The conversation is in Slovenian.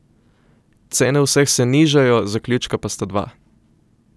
Cene vseh se nižajo, zaključka pa sta dva.